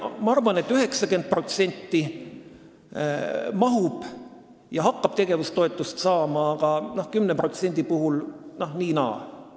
Ma arvan, et 90% hakkab tegevustoetust saama, aga 10%-ga on nii ja naa.